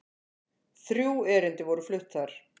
Þrjú erindi voru flutt þar